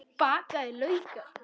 Bakaðir laukar